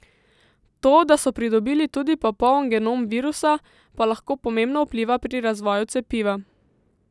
To, da so pridobili tudi popoln genom virusa, pa lahko pomembno vpliva pri razvoju cepiva.